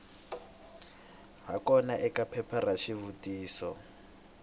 hakona eka phepha ra swivutiso